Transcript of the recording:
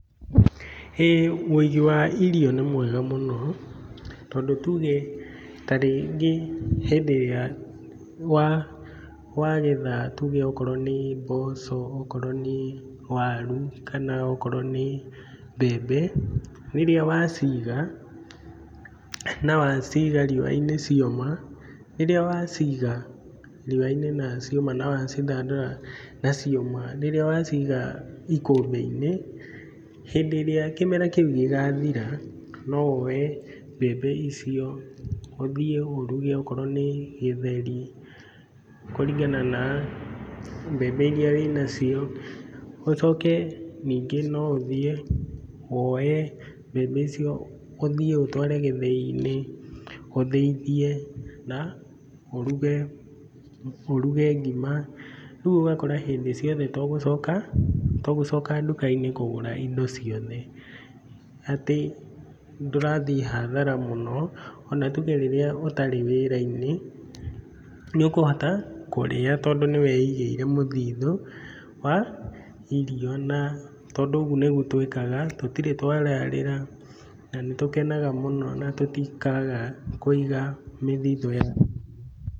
Hĩ! Ũigi wa irio nĩ mwega mũno, tondũ tuge ta rĩngĩ hĩndĩ ĩrĩa wagetha tuge okorwo nĩ mboco, okorwo nĩ waru kana okorwo nĩ mbembe, rĩrĩa waciga, na waciga riũa-inĩ cioma, rĩrĩa waciga, riũa-inĩ na cioma na wacithandũra, na cioma, rĩrĩa waciga ikũmbĩ-inĩ, hĩndĩ ĩrĩa kĩmera kĩu gĩgathira no woye mbembe icio, ũthiĩ ũruge okorwo nĩ gĩtheri, kũringana na mbembe iria wĩnacio, ũcoke ningĩ no ũthiĩ woye mbembe icio ũthiĩ ũtware gĩthĩ-inĩ, ũthĩithie na ũruge ngima, rĩu ũgakora hĩndĩ ciothe to gũcoka nduka-inĩ kũgũra indo ciothe atĩ ndũrathiĩ hathara mũno o na tuge rĩrĩa ũtarĩ wĩra-inĩ, nĩ ũkũhota kũrĩa tondũ nĩ wĩigíĩre mũthithũ wa irio na tondũ ũguo nĩguo twĩkaga, tũtirĩ twararĩra, na nĩ tũkenaga mũno na tũtikaga kũiga mĩthithũ ya irio.